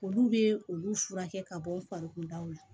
Olu bɛ olu furakɛ ka bɔ n farikolo la